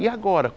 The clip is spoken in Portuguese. E agora?